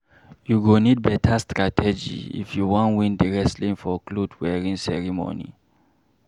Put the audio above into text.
You go need beta strategy if you wan win di wrestling for cloth wearing ceremony.